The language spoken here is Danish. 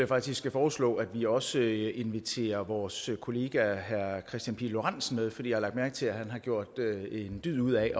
faktisk foreslå at vi også inviterer vores kollega herre kristian pihl lorentzen med for jeg har lagt mærke til at han har gjort en dyd ud af